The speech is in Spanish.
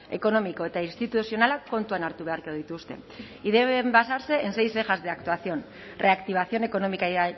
ekonomiko eta instituzionalak kontuan hartu beharko dituzte y deben basarse en seis ejes de actuación reactivación económica y